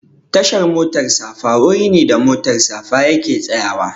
Tashar motar safa wuri ne da motar safa yake tsayawa